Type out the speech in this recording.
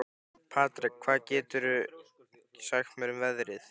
Patrek, hvað geturðu sagt mér um veðrið?